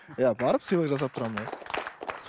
иә барып сыйлық жасап тұрамын иә